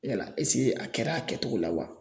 Yala esike a kɛra a kɛtogo la wa